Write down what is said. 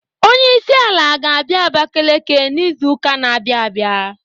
Onyeisiala ga-abịa Abakeleke n'izu ụka na-abịa abịa.